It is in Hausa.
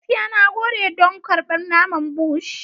Gaskiya, na gode don karɓar naman Bush.